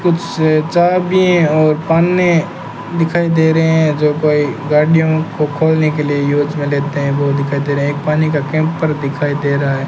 कुछ चाबी और पानी दिखाई दे रहे हैं जो कोई गाड़ियों को खोलने के लिए यूज में लेते हैं वह दिखाई दे रहा एक पानी का कैंपर दिखाई दे रहा है।